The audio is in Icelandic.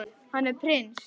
Hann er prins.